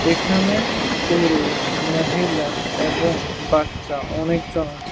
এখানে পুরুষ মহিলা এবং বাচ্চা অনেকজন আছে।